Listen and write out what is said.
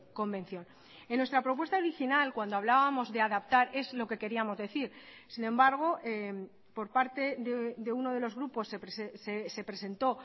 convención en nuestra propuesta original cuando hablábamos de adaptar es lo que queríamos decir sin embargo por parte de uno de los grupos se presentó